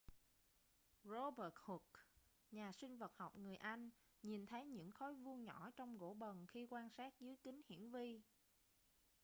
robert hooke nhà sinh vật học người anh nhìn thấy những khối vuông nhỏ trong gỗ bần khi quan sát dưới kính hiển vi